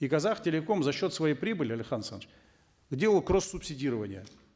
и казахтелеком за счет своей прибыли алихан асханович делал кросс субсидирование